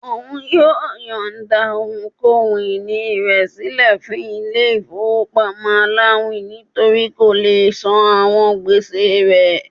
Òun yóò yońda ohun-ini rẹ silẹ fún ilé ifowopamọ àláwin nítorí kó lé sán àwọn gbèsè rẹ̀